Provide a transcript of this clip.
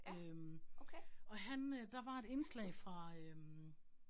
Øh og han øh der var et indslag fra øh